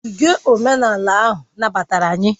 Ogige omenala ahụ nabatara anyị